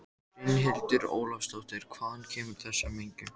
Brynhildur Ólafsdóttir: Hvaðan kemur þessi mengun?